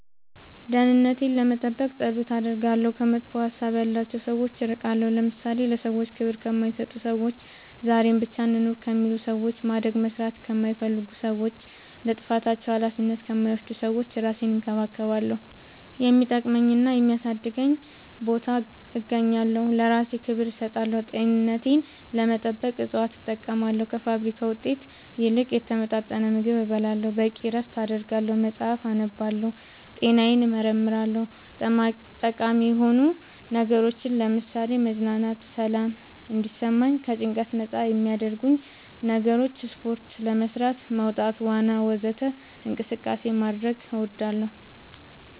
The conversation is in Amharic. ደህንነቴን ለመጠበቅ ፀሎት አደርጋለሁ ከመጥፎ ሀሳብ ያላቸው ሰዎች እርቃለሁ ለምሳሌ ለሰዎች ክብር ከማይሰጡ ሰዎች ዛሬን ብቻ እንኑር ከሚሉ ሰዎች ማደግ መስራት ከማይፈልጉ ሰዎች ለጥፋታቸው አላፊነት ከማይወስዱ ሰዎች እራሴን እንከባከባለሁ የሚጠቅመኝና የሚያሳድገኝ ቦታ እገኛለሁ ለእራሴ ክብር እሰጣለሁ ጤንነቴን ለመጠበቅ እፅዋት እጠቀማለሁ ከፋብሪካ ውጤት ይልቅ የተመጣጠነ ምግብ እበላለሁ በቂ እረፍት አደርጋለሁ መፅአፍ አነባለሁ ጤናዬን እመረመራለሁ ጠቃሚ የሆኑ ነገሮች ለምሳሌ መዝናናት ሰላም እንዲሰማኝ ከጭንቀት ነፃ የሚያረጉኝ ነገሮች ስፓርት ጋደት መውጣት ዋና ወዘተ እንቅስቃሴ ማድረግ